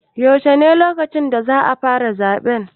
Yaushe ne lokacin da za fara zaɓe?